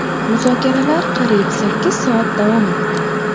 Muzokaralar qariyb sakkiz soat davom etdi.